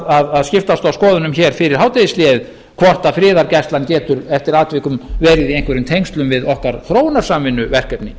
vorum að skiptast á skoðunum hér fyrir hádegishléið hvort friðargæslan getur eftir atvikum verið í einhverjum tengslum við okkar þróunarsamvinnuverkefni